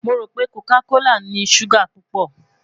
Mo ro pe coca kola ni suga pupọ